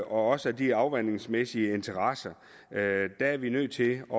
også af de afvandingsmæssige interesser der er vi nødt til at